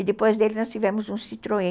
E depois dele nós tivemos um citroën.